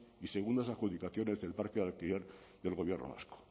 y segundas adjudicaciones del parque de alquiler del gobierno vasco